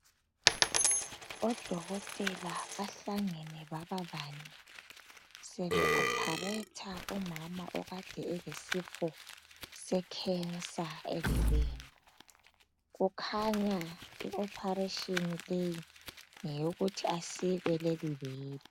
Odokotela bahlangene baba bane. Sebe opharetha umama okade elesifo secancer ebeleni. Kukhanya i-operation leyi, ngeyokuthi asikwe lelibele.